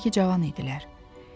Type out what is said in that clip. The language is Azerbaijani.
Hələ ki cavan idilər.